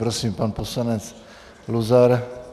Prosím, pan poslanec Luzar.